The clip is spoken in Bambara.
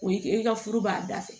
O ye i ka furu b'a dafɛ